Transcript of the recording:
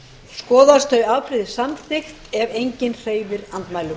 skoðast þau afbrigði samþykkt ef enginn hreyfir andmælum